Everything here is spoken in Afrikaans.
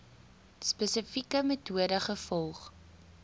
spesifieke metode gevolg